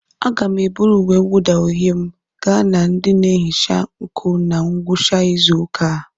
Aga m eburu uwe mwụda uhie m gaa na ndị na-ehicha nkụ na ngwụcha izu ụka a.